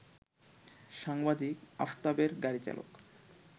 সাংবাদিক আফতাবের গাড়িচালক